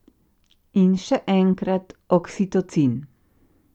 In še enkrat, oksitocin.